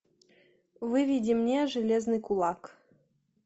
выведи мне железный кулак